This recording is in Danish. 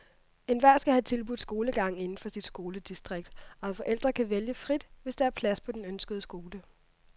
Enhver skal have tilbudt skolegang inden for sit skoledistrikt, og forældre kan vælge frit, hvis der er plads på den ønskede skole.